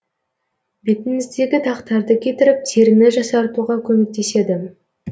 бетіңіздегі дақтарды кетіріп теріні жасартуға көмектеседі